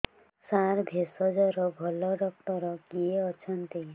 ସାର ଭେଷଜର ଭଲ ଡକ୍ଟର କିଏ ଅଛନ୍ତି